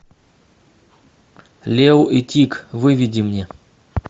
лео и тиг выведи мне